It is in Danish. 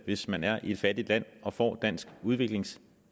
hvis man er i et fattigt land og får dansk udviklingsbistand